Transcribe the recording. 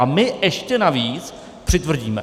A my ještě navíc přitvrdíme.